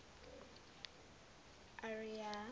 ariya